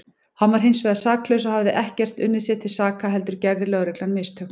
Hann var hinsvegar saklaus og hafði ekkert unnið sér til saka heldur gerði lögreglan mistök.